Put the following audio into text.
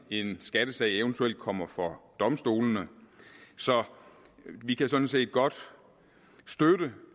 en skattesag eventuelt kommer for domstolene så vi kan sådan set godt støtte